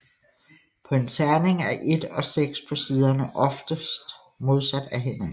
På en terning er 1 og 6 på siderne oftest modsat af hinanden